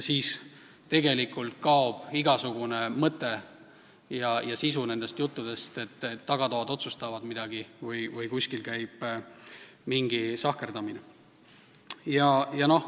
Siis kaob igasugune alus rääkida jutte, et tagatoad otsustavad kõik või kuskil käib mingi sahkerdamine.